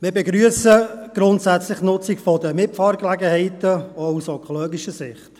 Wir begrüssen grundsätzlich die Nutzung der Mitfahrgelegenheiten, auch aus ökologischer Sicht.